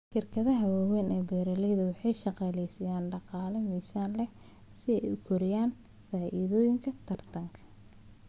Shirkadaha waaweyn ee beeralayda waxay shaqaalaysiiyaan dhaqaale miisaan leh si ay u kordhiyaan faa'iidadooda tartanka.